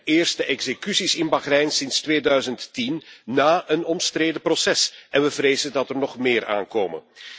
Het zijn de eerste executies in Bahrein sinds 2010 na een omstreden proces en we vrezen dat er nog meer aankomen.